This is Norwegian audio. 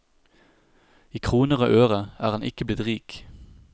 I kroner og øre er han ikke blitt rik.